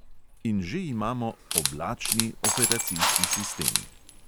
In že imamo "oblačni" operacijski sistem.